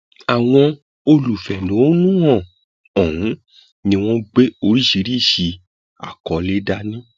àwọn olùfẹhónúhàn ọhún ni wọn gbé oríṣìíríṣìí àkọlé dání